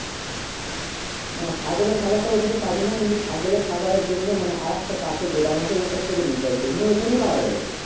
না ছাগলে খাবা তা অরকাছে পাবি না কিন্তু ছাগলে খাবার জন্য আর একটা পাশে গদাম আছে ওর কাছ থেকে নিতে হবে তোকে মানে ওইখানে পাবা যাবে